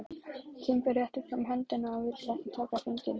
Kimbi rétti fram höndina og vildi taka hringinn.